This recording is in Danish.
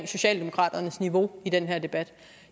socialdemokraternes niveau i den her debat